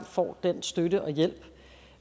får den støtte og hjælp